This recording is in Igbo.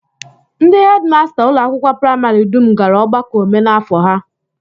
Ndị hedịmasta ụlọakwụkwọ praịmarị dum gara ọgbakọ omenafọ ha